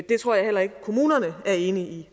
det tror jeg heller ikke kommunerne er enige i